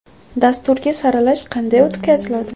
Dasturga saralash qanday o‘tkaziladi?